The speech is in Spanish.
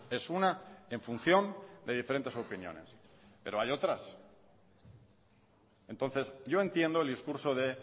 es una en función de diferentes opiniones pero hay otras entonces yo entiendo el discurso de